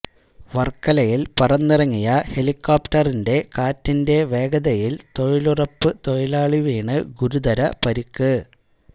വർക്കലയിൽ പറന്നിറങ്ങിയ ഹെലികോപ്റ്ററിന്റെ കാറ്റിന്റെ വേഗതയിൽ തൊഴിലുറപ്പ് തൊഴിലാളി വീണ് ഗുരുതര പരിക്ക്